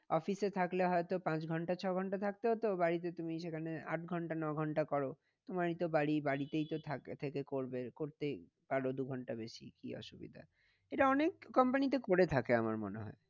Office থাকলে হয় তো পাঁচ ঘন্টা ছয় ঘন্টা থাকতে হতো বাড়িতে তুমি সেখানে আট ঘন্টা ন ঘন্টা করো। তোমারই তো বাড়ি বাড়িতেই তো থেকে করবে করতে পারো দু ঘন্টা বেশি কি অসুবিধা এটা অনেক company তে করে থাকে আমার মনে হয়।